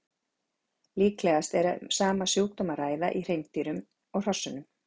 Líklegast er að um sama sjúkdóm sé að ræða í hreindýrunum og hrossunum.